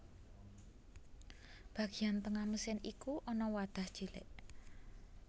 Bagian tengah mesin iku ana wadah cilik